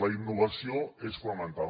la innovació és fonamental